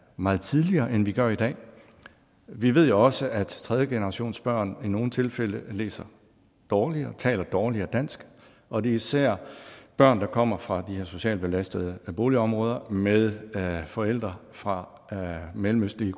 meget tidligere end vi gør i dag vi ved jo også at tredjegenerationsbørn i nogle tilfælde læser dårligere taler dårligere dansk og det er især børn der kommer fra de her socialt belastede boligområder med forældre fra mellemøstlige